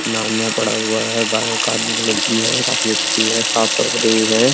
नाम्य पढ़ा हुआ है। गाय काले कलर की है। काफी अच्छी है। साफ चमक रही है।